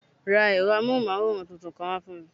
Ra ẹ̀rọ amóhùnmáwòrán tuntun kan fún mi